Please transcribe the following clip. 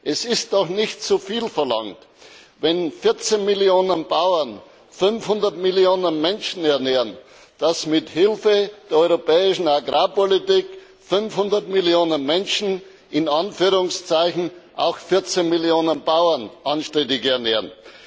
Es ist doch nicht zuviel verlangt, wenn 14 Millionen Bauern 500 Millionen Menschen ernähren, dass mithilfe der europäischen Agrarpolitik 500 Millionen Menschen in Anführungszeichen auch 14 Millionen Bauern anständig ernähren.